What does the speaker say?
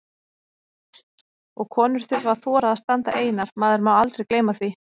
Og konur þurfa að þora að standa einar, maður má aldrei gleyma því!